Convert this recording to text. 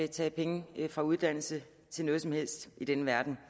tage penge fra uddannelse til noget som helst i denne verden